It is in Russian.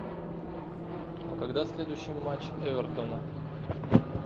а когда следующий матч эвертона